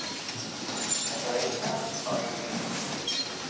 Catarina Östling